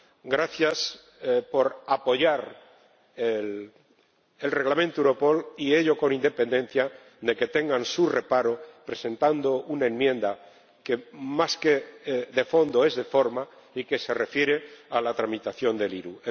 Gracias por apoyar el Reglamento sobre Europol, y ello con independencia de que tengan su reparo, presentando una enmienda que más que de fondo es de forma y que se refiere a la tramitación de la IRU.